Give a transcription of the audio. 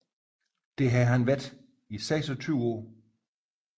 Det har han været i seksogtyve år